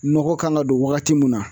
Nɔgɔ kan ka don wagati mun na